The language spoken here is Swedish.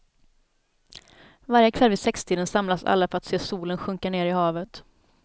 Varje kväll vid sextiden samlas alla för att se solen sjunka ner i havet.